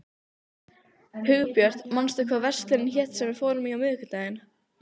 Hugbjört, manstu hvað verslunin hét sem við fórum í á miðvikudaginn?